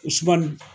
U sumani